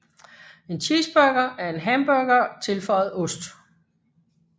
En cheeseburger er en hamburger tilføjet ost